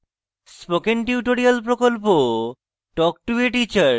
spoken tutorial প্রকল্প talk to a teacher প্রকল্পের অংশবিশেষ